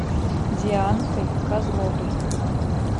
дианкой козловой